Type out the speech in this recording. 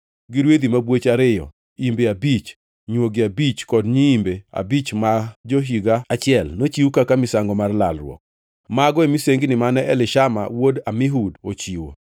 gi rwedhi mabwoch ariyo, imbe abich, nywogi abich kod nyiimbe abich ma jo-higa achiel, nochiw kaka misango mar lalruok. Mago e misengini mane Elishama wuod Amihud ochiwo.